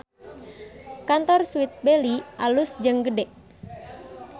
Kantor Sweet Belly alus jeung gede